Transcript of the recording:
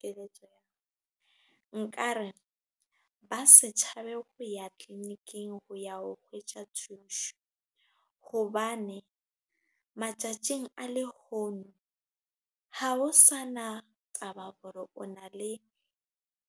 Keletso nka re ba setjhabe ho ya tliliniking ho ya ho kgwetja thuso, hobane matjatjing a lehono ha ho sana taba hore o na le